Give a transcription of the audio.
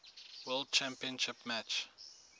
world championship match